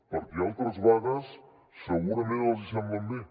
perquè altres vagues segurament els semblen bé